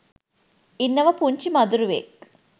ඉන්නවා පුංචි මදුරුවෙක්